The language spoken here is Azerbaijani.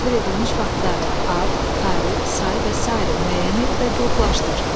Təsvir edilmiş faktları ad, tarix, say və sair müəyyən et və qruplaşdır.